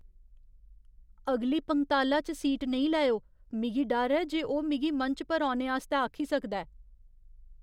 अगली पंगताला च सीट नेईं लैओ। मिगी डर ऐ जे ओह् मिगी मंच पर औने आस्तै आखी सकदा ऐ।